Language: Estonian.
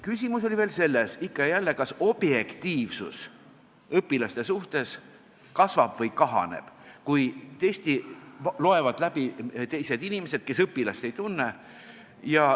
Küsimus oli veel selles, ikka ja jälle, kas objektiivsus õpilaste suhtes kasvab või kahaneb, kui testi loevad läbi teised inimesed, kes õpilast ei tunne.